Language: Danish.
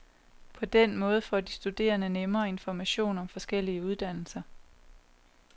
På den måde får de studerende nemmere information om forskellige uddannelser.